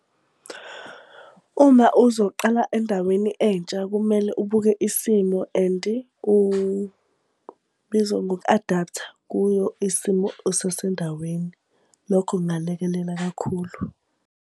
Uma uzoqala endaweni entsha, kumele ubuke isimo and kubizwa ngoku-adapt-a kuyo isimo usasendaweni. Lokho kungalekelela kakhulu.